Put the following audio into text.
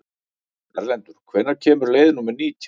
Erlendur, hvenær kemur leið númer nítján?